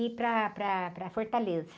E para, para, para Fortaleza.